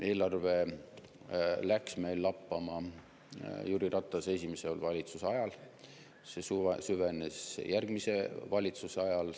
Eelarve läks meil lappama Jüri Ratase esimese valitsuse ajal, see süvenes järgmise valitsuse ajal.